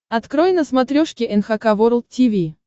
открой на смотрешке эн эйч кей волд ти ви